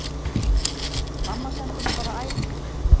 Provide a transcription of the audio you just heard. Mamma sendi mig bara á æfingu